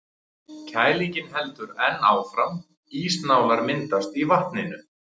Kælingin heldur enn áfram, ísnálar myndast í vatninu.